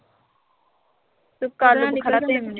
ਸੁੱਕਾ ਆਲੂ ਬੁਖਾਰਾ ਤੇ ਇਮਲੀ।